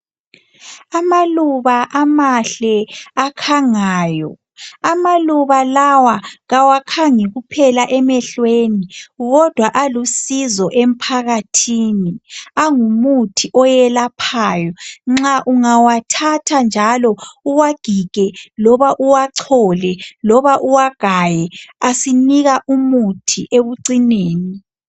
amaluba amahle akhangayo amaluba lawa kawakhangi kuohela emehlweni kodwa alusizo emphakathini angumuthi oyelaphayo nxa ungawathatha njalo uwagige loba uwachole loba uwagaye asinika umuthi ekucineni